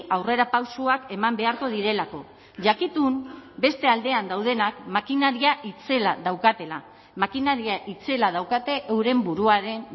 aurrerapausoak eman beharko direlako jakitun beste aldean daudenak makinaria itzela daukatela makinaria itzela daukate euren buruaren